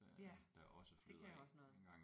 Ja det kan også noget